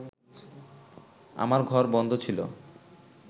আমার ঘর বন্ধ ছিল